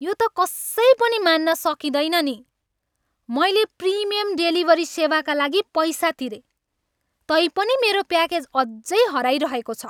यो त कसै पनि मान्न सकिँदैन नि! मैले प्रिमियम डेलिभरी सेवाका लागि पैसा तिरेँ, तैपनि मेरो प्याकेज अझै हराइरहेको छ!